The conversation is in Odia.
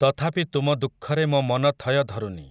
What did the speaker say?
ତଥାପି ତୁମ ଦୁଃଖରେ ମୋ ମନ ଥୟ ଧରୁନି ।